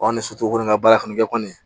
Ɔ ni soso ko ni ka baara kɔni kɛ kɔni